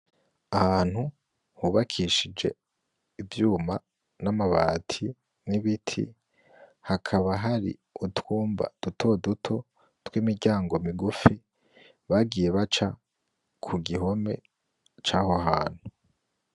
Ahantu hubakishije ivyuma n'amabati n'ibiti hakaba hari utwumba dutoduto twimiryango migufi bagiye baca ku gihome caho hantu.